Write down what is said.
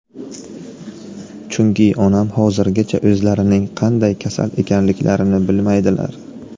Chunki onam hozirgacha o‘zlarining qanday kasal ekanliklarini bilmaydilar.